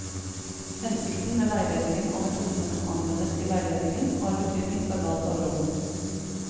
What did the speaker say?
Hensikten med veiledningen og metodene som anvendes i veiledningen, har betydning for valg av rom.